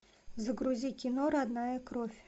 загрузи кино родная кровь